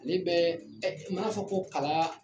Ne bɛ ɛ maa fɔ ko kalan